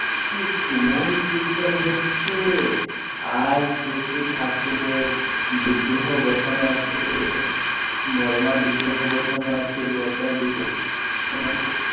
কি তুমুল কীর্তন হচ্ছে আর শ্রী শ্রী ঠাকুরের বিগ্রহ বসানো বড়ো মার্ বিগ্রহ বসানো আছে বসানো আছে